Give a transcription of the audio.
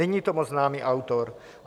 Není to moc známý autor.